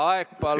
Aeg, palun!